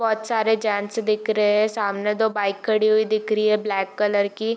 बोहोत सारे जेंट्स दिख रहे है सामने दो बाइक खडी हुई दिख रही है ब्लैक कलर की।